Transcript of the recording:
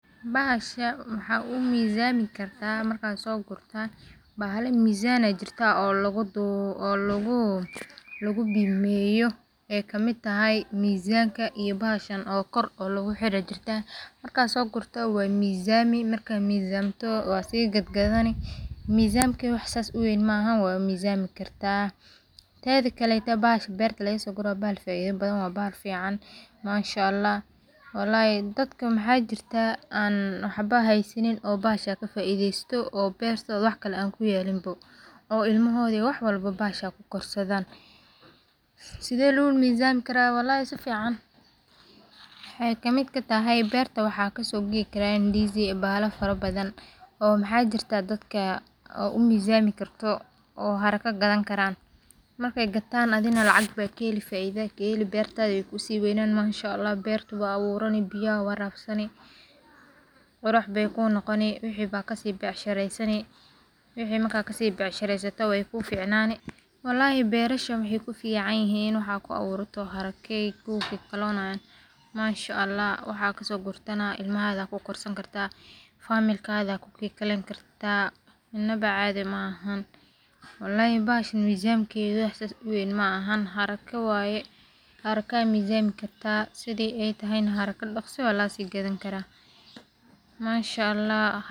Baxasha waxaa umisamikartah marka sogurtan mahala masama jirtah, oo lagu dowah oo lagu bimayoh, aa kamid thay misamka iyo bahashan gor lagu xirayo jirtah marka sogurtah wa mesami marka mesamtoh wa sii gadgadan, mesamka wax saas wan mahan wa mesamikartah, tadkle balashan bartah laga sogorah bahal faid lah waya oo fiacan mashallah, walhi dadka mxa jirtah an waxbo hasanin oo bahasa ka faidastoh oo bartoda wax kle an ku yelin bo oo ilmohada iyo waxl walbo bahasha ku gorsadan, sidas lagu mesmilarah walhi sifican, waxay kamid ka tahay barta waxa ka sogo igarah indiska bahala fara badan oo maxa jirtah dadka oo mesamikartah oo harka ka dankaran markay gatan lacag aya ka heli bartadanah way ku si waynani mashallah barta wad awuran biyo aya warabsaniv, quruxbay ku noqon waxi ba ka si bacshirasani, waxi marka ka si bavshirstoh way ku ficanani walhi barashan waxay ku fican yihin wax aya ku awurani harko kugikalonayin mashallah wax aya ka so guratah ilmahada ku gorsani kartah familkada ku gilkalayni kartah, inba cadi mahan, walhi bahashan mesamkada wax saas uwan mahan xaraga waye xaraga aya mesamkartah side ay tahay xaragaka daqsi wa laga si gadanakarah mashallah.